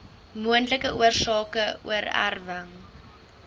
moontlike oorsake oorerwing